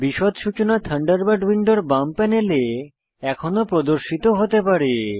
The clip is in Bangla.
বিশদ সূচনা থান্ডারবার্ড উইন্ডোর বাম প্যানেলে এখনও প্রদর্শিত হতে পারে